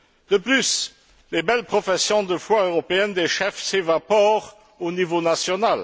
De plus, les belles professions de foi européennes des chefs s'évaporent au niveau national.